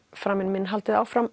framinn minn haldið áfram